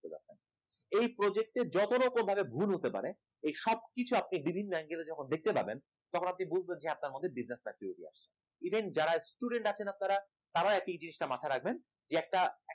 এই project এর যত রকম ভাবে ভুল হতে পারে এই সব কিছু আপনি বিভিন্ন angle এ যখন দেখতে পাবেন তখন আপনি বুঝবেন আপনার মধ্যে বিজনেস activity আছে even যারা student আছেন আপনারা তারা একই এই জিনিসটা মাথায় রাখবেন যে একটা